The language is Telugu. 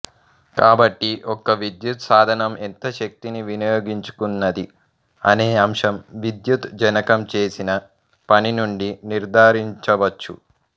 కాబట్టి ఒక విద్యుత్ సాధనం ఎంత శక్తిని వినియోగించుకున్నది అనే అంశం విద్యుత్ జనకం చేసిన పని నుండి నిర్థారించవచ్చు